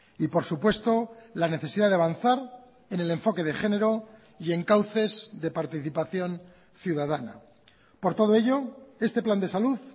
y por supuesto la necesidad de avanzar en el enfoque de género y en cauces de participación ciudadana por todo ello este plan de salud